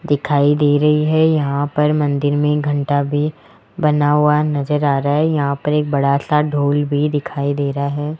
दिखाई दे रही है यहां पर मंदिर में घंटा भी बना हुआ नजर आ रहा है यहां पर एक बड़ा सा ढोल भी दिखाई दे रहा है।